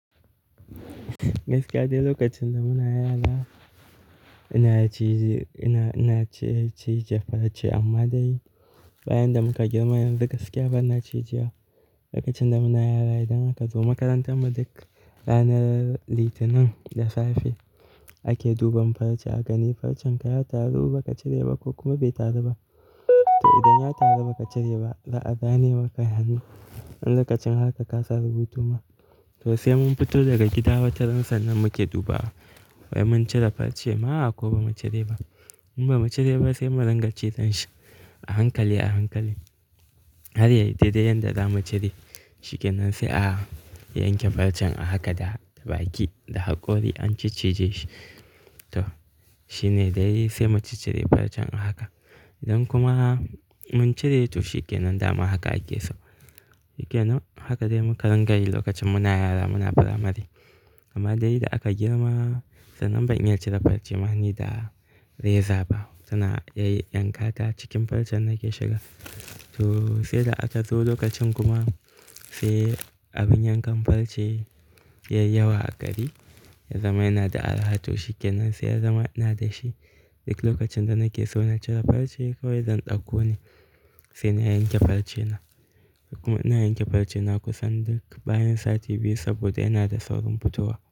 Gaskiya dai lokacin da muna yara ina cije, ina, ina ce cije farce amma dai bayan da muka girma yanzu gaskiya bana cije. Lokacin da muna yara idan aka zo makarantar mu duk ranar litinin da safe ake duban farce aka gani farcen ka ya taru ba ka cire ba ko kuma bai taru ba. To idan ya taru ba ka cire ba za'a zane maka hannu. Dan lokacin haka ka samu rubutu ma. To sai mun fito daga gida wataransa nan muke dubawa wai mun cire farce ma a ko ba mu cire ba. In ba mu cire ba sai mu dinga cizan shi a hankali, a hankali. Har dai da yadda za mu cire shi kenan sai a yanke farcen a haka da baki da hakori an ciccije shi. To shine dai sai mu ciccije farcen a haka. Idan kuma mun cire to shi kenan dama haka a geso. Shikenan haka dai mu ka rinƙayi lokacin muna yara muna firamare. Amma dai da aka girma tsanan ba'in iya cire farce mani da reza ba. Tana iya yankata cikin farce nake shiga. To sai da aka zo lokacin kuma sai abin yankan farce ya yi yawa a gari ya zama yana da araha to shikenan sai ya zama ina da shi. Duk lokacin da nake so na cire farce kawai zan ɗauko ne sai na yanke farce na. Kuma ina yanke farce na kusan duk bayan sati biyu saboda yana da saurin fitowa.